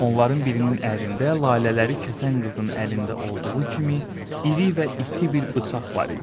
Onların birinin əlində lalələri kəsən qızın əlində olduğu kimi, iri və iti bir bıçaq var idi.